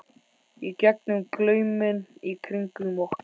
í gegnum glauminn í kringum okkur.